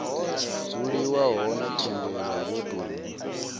dzuliwa hone thendelo yo tou